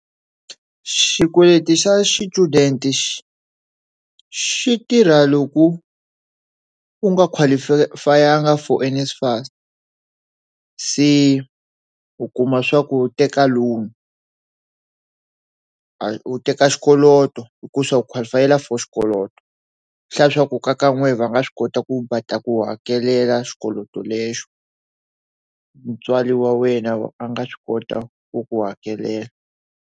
Xikweleti xa xichudeni xi xitirha loko u nga qualify-angi for NSFAS se u kuma swa ku teka loan u teka xikolo hikuva se u qualify-ela for xikoloto xa leswaku kaya ka nwehe va nga swi kota ku ta ku hakelela xikweleti lexi mutswari wa wena a nga swi kota ku ku hakelela.